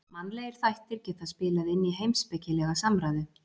Mannlegir þættir geta spilað inn í heimspekilega samræðu.